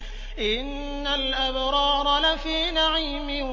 إِنَّ الْأَبْرَارَ لَفِي نَعِيمٍ